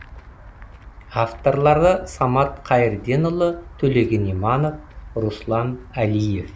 авторлары самат қайырденұлы төлеген иманов руслан әлиев